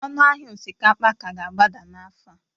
ọnụ ahịa osikapa ka ga-agbada n'afọ a?